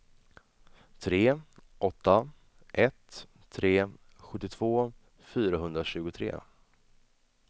tre åtta ett tre sjuttiotvå fyrahundratjugotre